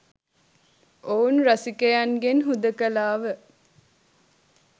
ඔවුන් රසිකයන්ගෙන් හුදකලා ව